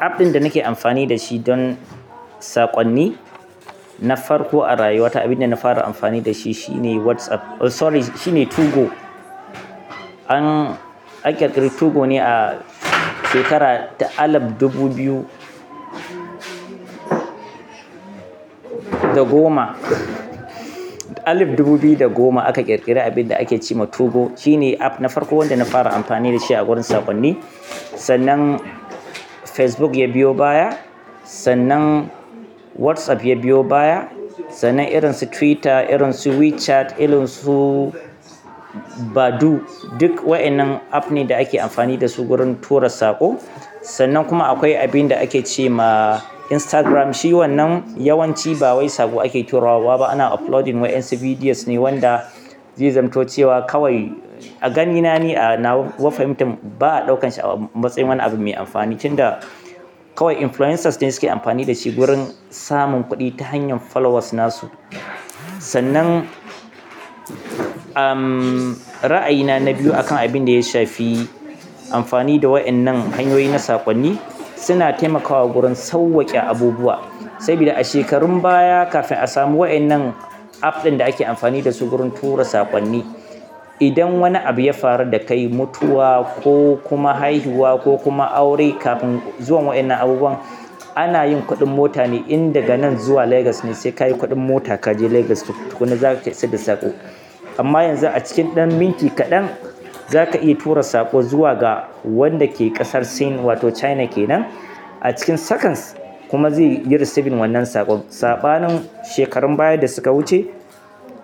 App ɗin da nake amfani da shi don saƙonni na farko a rayuwa ta, abin da na fara amfani da shi shine WhatsApp. Oh sorry, shi ne biyu go. An an ƙirƙiri biyu go ne a shekara ta alif dubu biyu da goma alif dubu biyu da goma aka ƙirƙiri abin da ake ce ma biyu go. Shi ne app na farko wanda na fara amfani da shi a gurin saƙonni. Sannan Facebook ya biyo baya, sannan WhatsApp ya biyo baya, sannan irin su Twitter, irin su WeChat, irin su Badoo. Duk wa'innan app ne da ake amfani da su wurin tura saƙo. Sannan kuma akwai abin da ake ce ma Instagram. Shi wannan yawanci ba wai saƙo ake turawa ba. Ana uploading wa'insu videos ne wanda zai zamanto cewa kawai a ganina ni, a nawa fahimtan ba a ɗaukansa matsayin wani abu mai amfani. Tunda kawai influencers ne suke amfani da shi gurin samun kuɗi ta hanyar followers nasu. Sannan, ra'ayina na biyu akan abin da ya shafi amfani da wa'innan hanyoyi na saƙonni, suna taimakawa gurin sauwaƙe abubuwa. Saboda a shekarun baya kafin a samu wa'innan app ɗin da ake amfani da su gurin tura saƙonni, idan wani abu ya faru da kai, mutuwa ko kuma haihuwa ko kuma aure, kafin zuwan wa'innan abubuwan ana yin kuɗin mota ne in daga nan zuwa Lagos ne sai ka yi kuɗin mota ka je Lagos tukuna za ka taya su isar da saƙo. Amma yanzu a cikin ɗan minti kaɗan za ka iya tura saƙo zuwa ga wanda ke ƙasar Sin wato China kenan a cikin seconds. Kuma ze yi receving wannan saƙon. Saɓanin shekarun baya da suka wuce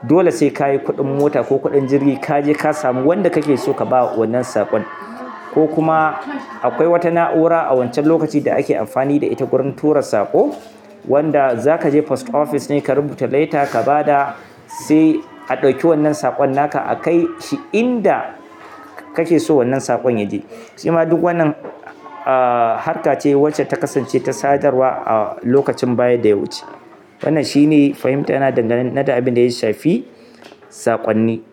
dole sai ka yi kuɗin mota ko kuɗin jirgi ka je ka samu wanda kake so ka ba wannan saƙon. Ko kuma akwai wata na'ura a wancan lokaci da ake amfani da ita gurin tura saƙo, wanda za ka je post office ne ka rubuta letter ka ba da, se a ɗauki wannan saƙon naka a kai shi inda kake so wannan saƙon ya je. Ce ma duk wannan ah harka ce wacce ta kasance ta sadarwa a lokacin baya da ya wuce. Wannan shi ne fahimta na dangana da abin da ya shafi saƙonni.